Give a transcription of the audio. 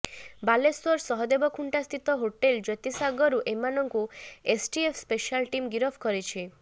ବାଲେଶ୍ବର ସହଦେବଖୁଣ୍ଟା ସ୍ଥିତ ହୋଟେଲ ଜ୍ୟୋତିସାଗରରୁ ଏମାନଙ୍କୁ ଏସ୍ଟିଏଫ୍ ସ୍ପେଶାଲ ଟିମ୍ ଗିରଫ କରିଛି